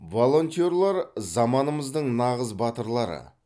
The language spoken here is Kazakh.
волонтерлер заманымыздың нағыз батырлары